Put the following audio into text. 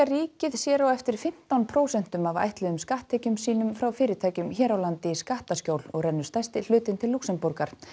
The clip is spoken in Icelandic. ríkið sér á eftir fimmtán prósent af ætluðum skatttekjum sínum frá fyrirtækjum hér á landi í skattaskjól og rennur stærsti hlutinn til Lúxemborgar